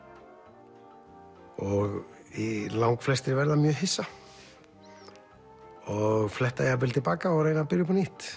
og langflestir verða mjög hissa og fletta jafnvel til baka og reyna að byrja upp á nýtt